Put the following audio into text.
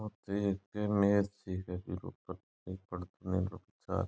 ओ तो एक मेज सिक है बिक ऊपर कोई पर्दा है उपचार --